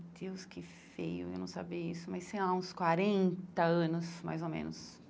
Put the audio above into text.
Meu Deus, que feio, eu não saber isso, mas sei lá, uns quarenta anos, mais ou menos.